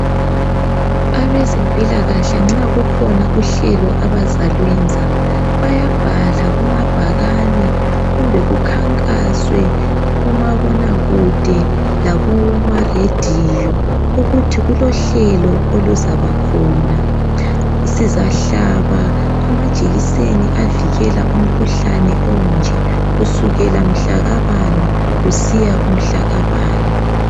Abezempilakahle nxakhona uhlelo abalwenza bayabhala kumabhakani kumbe kukhankaswe kumabona kude lakumaradio ukuthi kulohlelo oluzabakhona sizahlaba amajeseni avikela umkhuhlane onje kusukela mhlaka bani kusiya kumhlaka bani